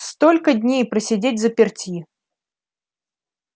столько дней просидеть взаперти